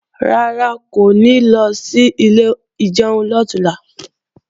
Rárá, kò ní lọ sí ilé ìjẹun lọ̀túnla